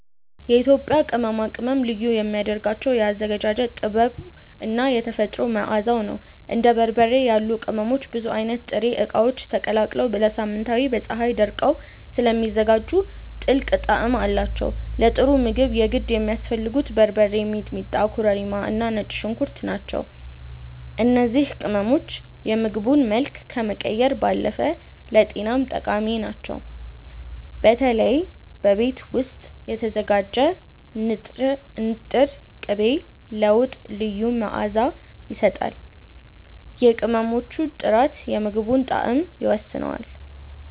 የኢትዮጵያ ቅመማ ቅመም ልዩ የሚያደርገው የአዘገጃጀት ጥበቡ እና የተፈጥሮ መዓዛው ነው። እንደ በርበሬ ያሉ ቅመሞች ብዙ አይነት ጥሬ እቃዎች ተቀላቅለው ለሳምንታት በፀሀይ ደርቀው ስለሚዘጋጁ ጥልቅ ጣዕም አላቸው። ለጥሩ ምግብ የግድ የሚያስፈልጉት በርበሬ፣ ሚጥሚጣ፣ ኮረሪማ እና ነጭ ሽንኩርት ናቸው። እነዚህ ቅመሞች የምግቡን መልክ ከመቀየር ባለፈ ለጤናም ጠቃሚ ናቸው። በተለይ በቤት ውስጥ የተዘጋጀ ንጥር ቅቤ ለወጥ ልዩ መዓዛ ይሰጣል። የቅመሞቹ ጥራት የምግቡን ጣዕም ይወስነዋል።